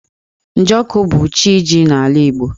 Njọkụ bụ CChi ji n'ala Igbo.